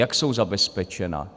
Jak jsou zabezpečena?